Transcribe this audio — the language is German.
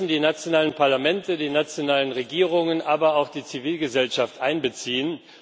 Wir müssen die nationalen Parlamente, die nationalen Regierungen, aber auch die Zivilgesellschaft einbeziehen.